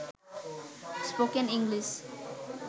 spoken English